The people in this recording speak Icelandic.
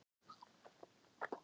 Hann bendir á hól vestan við bæinn.